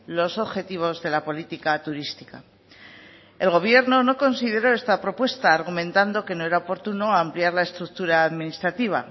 los objetivos de la política turística el gobierno no consideró esta propuesta argumentando que no era oportuno ampliar la estructura administrativa